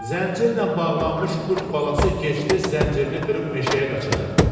Zəncirlə bağlanmış qurd balası gec-tez zəncirini qırıb meşəyə qaçacaqdır.